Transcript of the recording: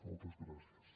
moltes gràcies